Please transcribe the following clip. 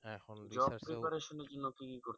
job preparation এর জন্য কি কি করতেছেন